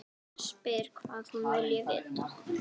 Spyr hvað hún vilji vita.